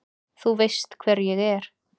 Þú veist hver ég er.